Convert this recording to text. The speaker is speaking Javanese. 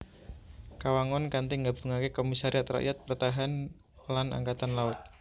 Kawangun kanthi nggabungaké Komisariat Rakyat Pertahan lan Angkatan Laut